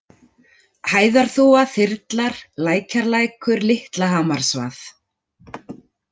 Hæðarþúfa, Þyrlar, Lækjarlækur, Litlahamarsvað